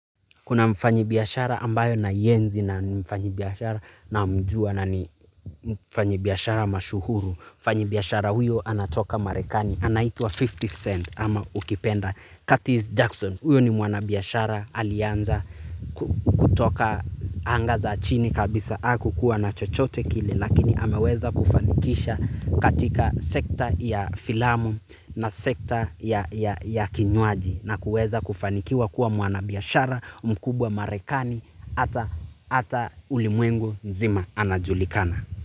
Kuna mfanyibiashara ambaye naienzi na mfanyibiashara namjua na ni mfanyibiashara mashuhuru. Mfanyibiashara huyo anatoka marekani anaitwa 50th cent ama ukipenda Curtis Jackson huyo ni mwanabiashara alianza kutoka anga za chini kabisa hakukuwa na chochote kile. Lakini ameweza kufanikisha katika sekta ya filamu na sekta ya kinywaji na kuweza kufanikiwa kuwa mwanabiashara, mkubwa marekani, hata ulimwengu mzima anajulikana.